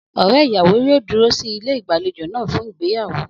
Ọ̀rẹ́ ìyàwó yóò dúró sí ilé ìgbàlejò náà fún ìgbéyàwó.